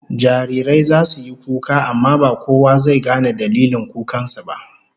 Jarirai zasu yi kuka amma ba kowa zai gane dalilin kukan su ba